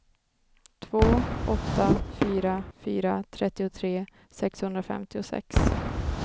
två åtta fyra fyra trettiotre sexhundrafemtiosex